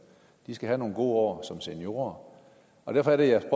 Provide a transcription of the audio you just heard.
de skal have nogle gode år som seniorer derfor er det at